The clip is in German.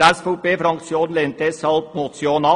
Die SVP-Fraktion lehnt deshalb die Motion ab.